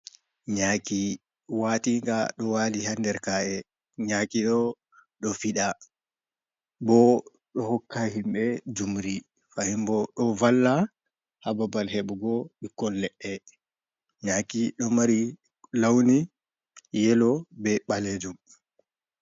Nyaaki watinga ɗo wali ha nder ka’e, nyaaki ɗo ɗo fiɗa, bo ɗo hokka himɓe jumri, Fahim bo ɗo valla ha babal heɓugo ɓikkon leɗɗe, nyaaki ɗo mari lawni yelo be ɓalejum.